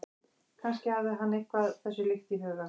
Kannski hafði hann eitthvað þessu líkt í huga.